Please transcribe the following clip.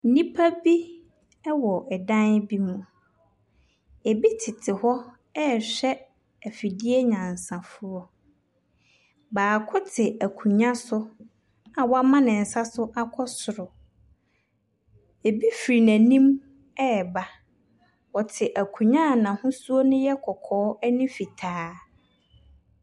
Nnipa bi ɛwɔ ɛdan bi mu. Ebi tete hɔ rehwɛ afidie nyansafoɔ. Baako te akonnwa so a wama ne nsa so akɔ soro. Ebi fi n’anim reba. Ɔte akonnwa a n’ahosuo no yɛ kɔkɔɔ ne fitaa.